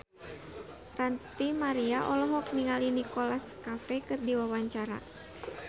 Ranty Maria olohok ningali Nicholas Cafe keur diwawancara